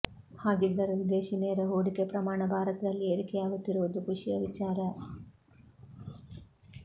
ಹಾಗಿದ್ದರೂ ವಿದೇಶಿ ನೇರ ಹೂಡಿಕೆ ಪ್ರಮಾಣ ಭಾರತದಲ್ಲಿ ಏರಿಕೆಯಾಗುತ್ತಿರುವುದು ಖುಷಿಯ ವಿಚಾರ